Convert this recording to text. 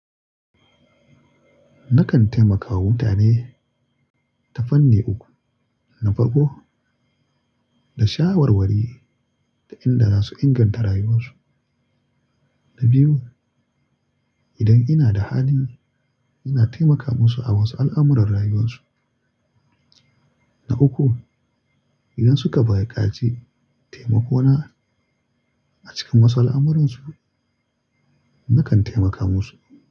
Nakan taimaka wa mutane ta fanni uku. Na farko, da shawarwari ta inda za su inganta rayuwarsu. Na biyu, idan ina da hali, ina taimaka musu a wasu al'amuran rayuwarsu. Na uku, idan suka buƙace taimako na a cikin wasu al'amuransu, nakan taimaka musu.